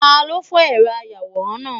Talo fó eró ayawóran náá?